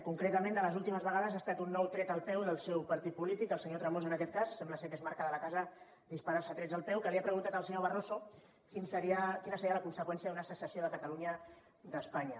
concretament de les últimes vegades ha estat un nou tret al peu del seu partit polític el senyor tremosa en aquest cas sembla que és marca de la casa disparar se trets al peu que li ha preguntat al senyor barroso quina seria la conseqüència d’una secessió de catalunya d’espanya